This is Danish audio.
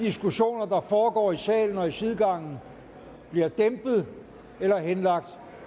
diskussioner der foregår i salen og i sidegangen bliver dæmpet eller henlagt